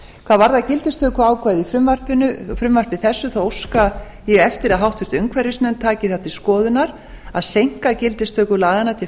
hvað varðar gildistökuákvæði í frumvarpi þessu óska ég eftir að háttvirtur umhverfisnefnd taki það til skoðunar að seinka gildistöku laganna til